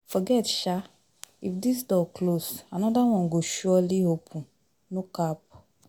Forget sha, if this door close anoda one go surely, open no cap